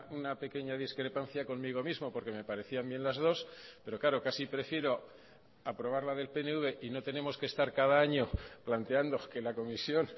una pequeña discrepancia conmigo mismo porque me parecían bien las dos pero claro casi prefiero aprobar la del pnv y no tenemos que estar cada año planteando que la comisión